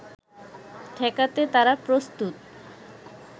ঠেকাতে তারা প্রস্তুত